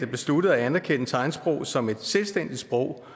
besluttede at anerkende tegnsprog som et selvstændigt sprog